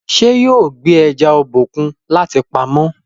ṣe yóò gbé eja Obokun láti pàmò.?